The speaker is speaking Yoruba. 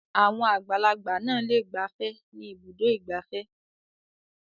Àwọn àgbàlagbà náà le gbafẹ́ ní Ibùdó-ìgbafẹ́.